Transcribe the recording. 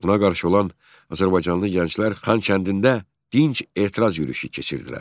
Buna qarşı olan azərbaycanlı gənclər Xankəndində dinc etiraz yürüşü keçirdilər.